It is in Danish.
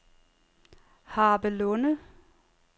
Harpelunde